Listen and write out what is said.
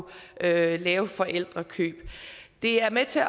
lave lave forældrekøb og det er med til